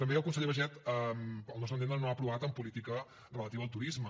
també el conseller baiget al nostre entendre no ha aprovat en política relativa al turisme